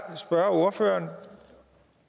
spørge ordføreren